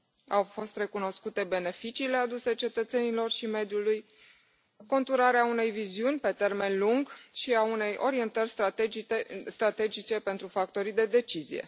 Au fost recunoscute beneficiile aduse cetățenilor și mediului, conturarea unei viziuni pe termen lung și a unei orientări strategice pentru factorii de decizie.